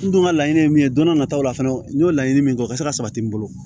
N dun ka laɲini ye min ye don n'a nataw la fɛnɛ n y'o laɲini min kɛ o ka se ka sabati n bolo